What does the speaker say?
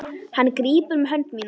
Hann grípur um hönd mína.